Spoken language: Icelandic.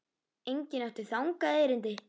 Enginn átti þangað erindi.